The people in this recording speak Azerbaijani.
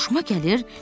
Xoşuma gəlir?